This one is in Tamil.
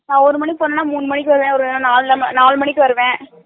நா ஒரு மணிக்கு போனேனா முனு மணிக்கு வருவே ஒருவேள நாலு நாலுமணிக்கு வருவே